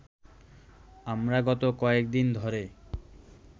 আমরা গত কয়েকদিন ধরে